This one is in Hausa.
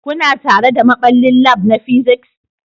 Kuna tare da maɓallin lab na physics